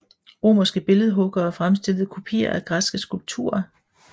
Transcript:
Romerske billedhuggere fremstillede kopier af græske skulpturer